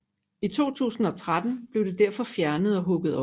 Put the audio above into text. I 2013 blev det derfor fjernet og hugget op